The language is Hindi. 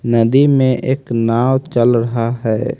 नदी में एक नाव चल रहा है।